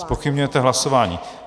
Zpochybňujete hlasování.